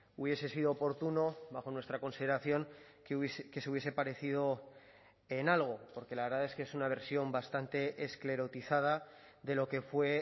hubiese sido oportuno bajo nuestra consideración que se hubiese parecido en algo porque la verdad es que es una versión bastante esclerotizada de lo que fue